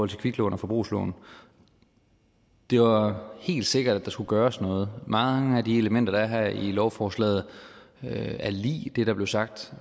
til kviklån og forbrugslån det var helt sikkert at der skulle gøres noget mange af de elementer der er her i lovforslaget er lig det der blev sagt